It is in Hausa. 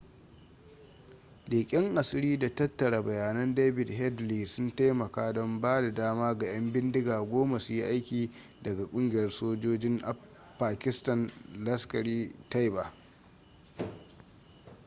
leƙen asiri da tattara bayannan david headley sun taimaka don ba da dama ga 'yan bindiga 10 su yi aiki daga kungiyar sojojin pakistan laskhar-e-taiba